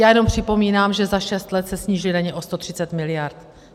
Já jenom připomínám, že za šest let se sníží daně o 130 miliard.